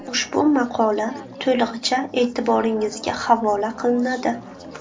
Ushbu maqola to‘lig‘icha e’tiboringizga havola qilinadi.